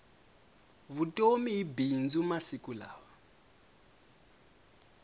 vutomi hi bindzu masiku lawa